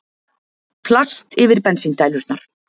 Plast yfir bensíndælurnar